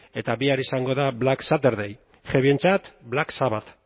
eta bihar izango da black saturday heavyentzat black sabbath